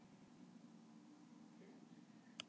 Holdanaut losa að öllum líkindum eitthvað minna.